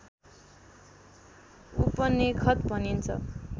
उपनेखत भनिन्छ